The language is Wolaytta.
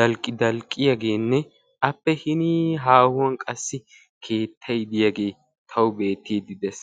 dalqi dalqqiyaage appe hinii haahuwan iray bukkiyagee tawu beetiidi dees.